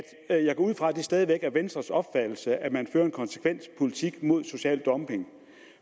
at jeg går ud fra at det stadig væk venstres opfattelse at man fører en konsekvent politik mod social dumping